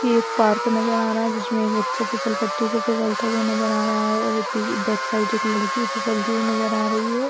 ये एक पार्क नजर आ रहा है जिसमे एक बच्चा फिसल पट्टी से फिसलता हुआ नजर आ रहा है और बैक साइड एक लड़की फिसलती हुई नजर आ रही है।